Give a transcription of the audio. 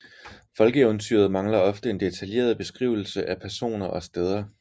Folkeeventyret mangler ofte en detaljeret beskrivelse af personer og steder